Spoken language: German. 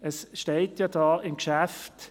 Im Vortrag ist zu lesen: